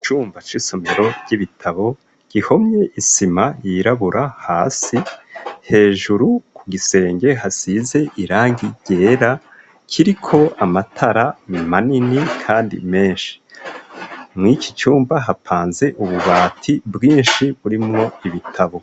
Icumba c'isomero ry'ibitabo gihomye isima yirabura hasi. Hejuru ku gisenge hasize irangi ryera, kiriko amatara manini kandi menshi. Mw'iki cumba hapanze ububati bwinshi burimwo ibitabo.